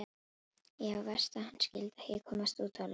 Já, verst að hann skyldi ekki komast út á land.